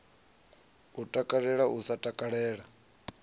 u takalela u sa takalela